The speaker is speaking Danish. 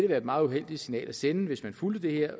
være et meget uheldigt signal at sende hvis man fulgte det her